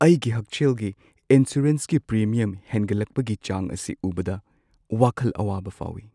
ꯑꯩꯒꯤ ꯍꯛꯁꯦꯜꯒꯤ ꯏꯟꯁꯨꯔꯦꯟꯁꯀꯤ ꯄ꯭ꯔꯤꯃꯤꯌꯝ ꯍꯦꯟꯒꯠꯂꯛꯄꯒꯤ ꯆꯥꯡ ꯑꯁꯤ ꯎꯕꯗ ꯋꯥꯈꯜ ꯑꯋꯥꯕ ꯐꯥꯎꯏ꯫